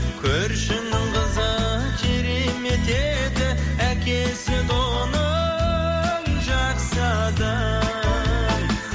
көршінің қызы керемет еді әкесі де оның жақсы адам